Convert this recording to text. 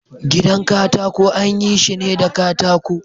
Gidan katako anyi shine da katako.